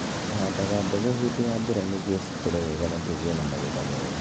Tũhaandaga mbegũ hĩndĩ ya mbura nĩguo cikũre wega na tũgĩe na magetha mega.